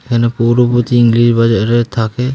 এখানে পৌর পতি ইংলিশ বাজারের থাকে।